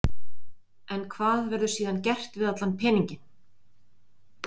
En hvað verður síðan gert við allan peninginn?